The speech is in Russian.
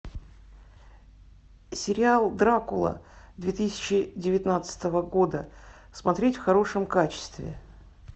сериал дракула две тысячи девятнадцатого года смотреть в хорошем качестве